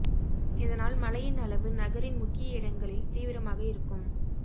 இதனால் மழையின் அளவு நகரின் முக்கிய இடங்களில் தீவிரமாக இருக்கும்